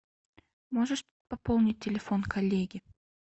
можешь пополнить телефон коллеги